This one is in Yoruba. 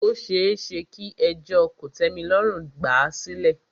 Ó ṣeéṣe kí ẹjọ́ kòtẹ́milọ́rùn gbà à sílẹ̀.